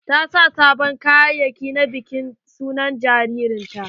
Ta sa sabon kayayaki na bikin suna na jaririn ta.